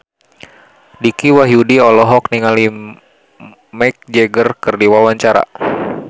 Dicky Wahyudi olohok ningali Mick Jagger keur diwawancara